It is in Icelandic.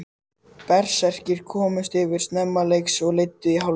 Berserkir komust yfir snemma leiks og leiddu í hálfleik.